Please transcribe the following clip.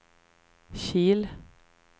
Kil